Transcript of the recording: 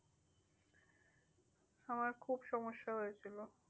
আমার খুব সমস্যা হয়েছিল।